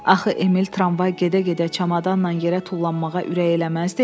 Axı Emil tramvay gedə-gedə çamadanla yerə tullanmağa ürək eləməzdi.